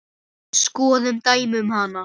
Skoðum dæmi um hana